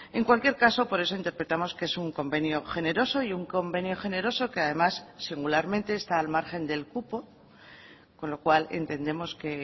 en cualquier caso por eso interpretamos que es un convenio generoso y un convenio generoso que además singularmente está al margen del cupo con lo cual entendemos que